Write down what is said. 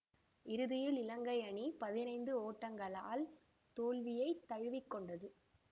இறுதியில் இலங்கை அணி பதினைந்து ஓட்டங்களால் தோல்வியை தழுவி கொண்டது